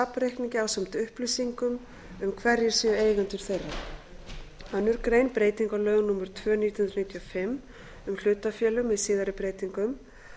safnreikningi ásamt upplýsingum um hverjir séu eigendur þeirra aðra grein breyting á lögum númer tvö nítján hundruð níutíu og fimm um hlutafélög með síðari breytingum